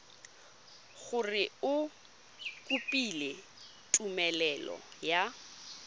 gore o kopile tumelelo ya